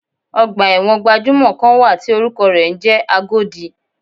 Ọgbà ẹ̀wọ̀n gbajúmò kan wà tí orúkọ rẹ̀ ń jẹ́ Agodi.